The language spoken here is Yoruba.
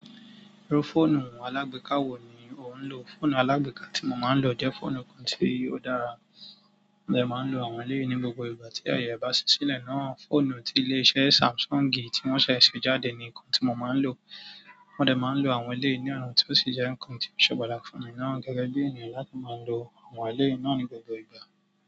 Irú fọ́ọ̀nù alágbèéká wo ni ò ń lò? Fọ́ọ̀nù alágbèéká tí mo máa ń lò jẹ́ fọ́ọ̀nù kan tí ó dára. Mo lè máa ń lo àwọn eléyì ní gbogbo ìgbà tí aye bá ṣí sílẹ̀ náà. Fọ́ọ̀nù tí ilé-iṣẹ́ Samsung tí wọ́n ṣẹ̀ ṣe jáde ni nǹkan tí mo máa ń lò. Mo dẹ̀ máa ń lo àwọn eléyìí ní ọnà tí ó sì jẹ́ nǹkan tí ó ṣe pàtàkì fún mi náà gẹ́gẹ́ bí ènìyàn yàrá máa ń lo àwọn eléyì náà ní gbogbo ìgbà.